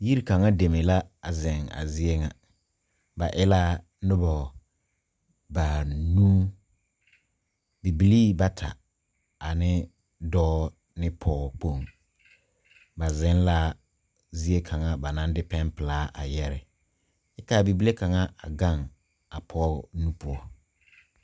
Yiri kaŋa deme la zeŋ a zie ŋa ba e laa nobɔ banuu bibilii bata ane dɔɔ ne pɔɔkpoŋ ba zeŋ la zie kaŋa ba naŋ de pɛnpilaa a yɛre kyɛ kaa bibile kaŋa a gaŋ a pɔɔ nu poɔ.